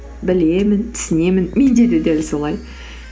білемін түсінемін менде де дәл солай